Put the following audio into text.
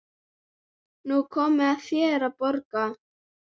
Nú er komið að þér að borga.